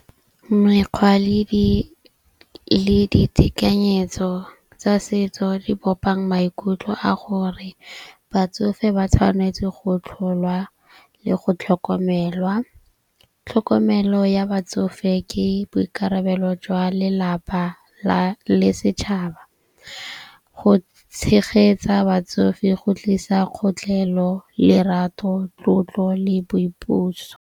Mekgwa le ditekanyetso tsa setso di bopang maikutlo a gore batsofe ba tshwanetse go tlholwa le go tlhokomelwa. Tlhokomelo ya batsofe ke boikarabelo jwa lelapa le setšhaba. Go tshegetsa batsofe go tlisa kgotlhelo, lerato, tlotlo le boipuso.